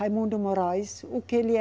Raimundo Moraes, o que ele é?